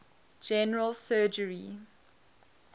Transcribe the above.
general surgery